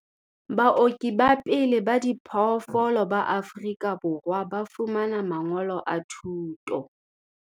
Baoki ba pele ba diphoofolo ba Afrika Borwa ba fumana mangolo a thuto